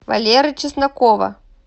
валеры чеснокова